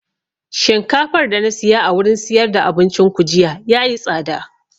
Shinkafar da na siya a wurin siyar da abincin ku jiya yayi tsada